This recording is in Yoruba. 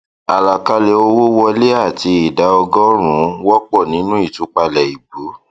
àlàkalẹ owó wọlé àti ìdá ọgọrùnún wọpọ nínú ìtúpalẹ ìbú